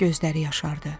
Gözləri yaşardı.